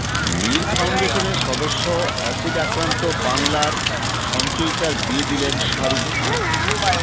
মীর ফাউন্ডেশনের সদস্য অ্যাসিড আক্রান্ত বাংলার সঞ্চয়িতার বিয়ে দিলেন শাহরুখ খান